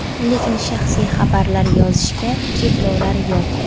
Lekin shaxsiy xabarlar yozishga cheklovlar yo‘q.